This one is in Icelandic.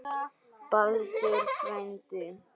Baldur frændi.